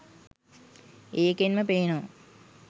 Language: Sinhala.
ඒකෙන්ම පේනවා